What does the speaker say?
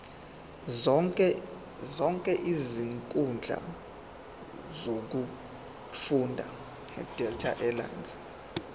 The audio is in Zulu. zonke izinkundla zokufunda